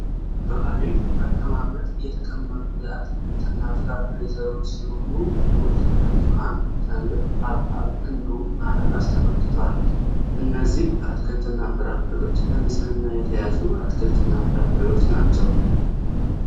በአሪፍ አቀማመጥ የተቀመጡ የአትክልትና ፍራፍሬ ዘሮች ሲሆኑ ሙዝ፥ ብርቱካን ፥ተምር ፥ ሀብሀብ እንዲሁም አናናስ ተመልክተዋል። እነዚህ አትክልትና ፍራፍሬዎች በንጽህና የተያዙ አትክልትና ፍራፍሬ ናቸው